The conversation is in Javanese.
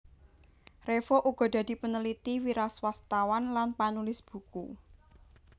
Revo uga dadi paneliti wiraswastawan lan panulis buku